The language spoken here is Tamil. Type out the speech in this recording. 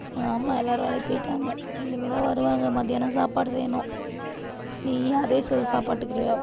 ஆமா எல்லாரும் வேலைக்கு போயிட்டாங்க. இனிமே தான் வருவாங்க. மத்தியானம் சாப்பாடு செய்யணும் நீயும் அதே சோறு சாப்பிட்டுக்குவியா?